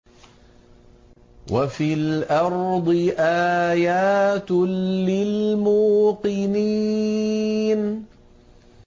وَفِي الْأَرْضِ آيَاتٌ لِّلْمُوقِنِينَ